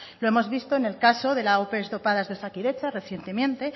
lo hemos visto en el caso de las ope dopadas de osakidetza recientemente